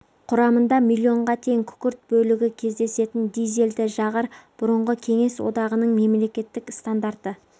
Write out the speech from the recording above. құрамында миллионға тең күкірт бөлігі кездесетін дизельді жағар бұрынғы кеңес одағының мемлекеттік стандарты